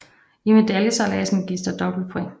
I medaljesejladsen gives der dobbelt points